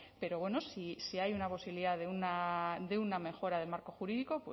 pero bueno si hay una posibilidad de una mejora del marco jurídico